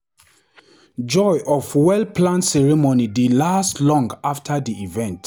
Joy of well-planned ceremony dey last long after the event.